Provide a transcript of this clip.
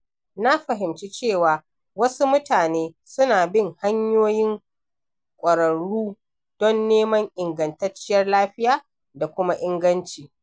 Na fahimci cewa wasu mutane suna bin hanyoyin ƙwararru don neman ingantacciyar lafiya da kuma inganci.